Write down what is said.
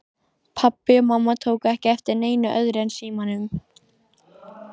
Pabbi og mamma tóku ekki eftir neinu öðru en símanum.